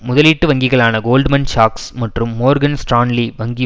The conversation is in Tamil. முதலீட்டு வங்கிகளான கோல்ட்மன் சாஷ்ஸ் மற்றும் மோர்கன் ஸ்ட்ரான்லி வங்கி